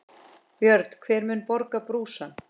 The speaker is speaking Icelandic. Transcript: Björn: Hver mun borga brúsann?